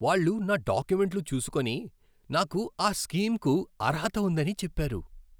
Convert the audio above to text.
వాళ్ళు నా డాక్యుమెంట్లు చూసుకొని, నాకు ఆ స్కీమ్కు అర్హత ఉందని చెప్పారు.